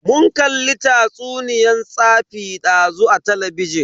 Mun kalli tatsuniyan tsafi dazu a talabijin.